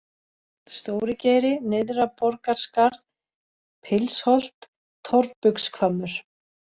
Stórigeiri, Nyrðra-Borgarskarð, Pilsholt, Torfbugshvammur